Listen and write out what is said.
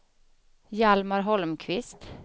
Hjalmar Holmqvist